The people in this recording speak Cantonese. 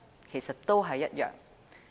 其實都是一樣。